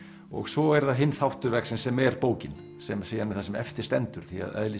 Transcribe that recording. og svo er það hinn þáttur verksins sem er bókin sem er síðan það sem eftir stendur því að eðli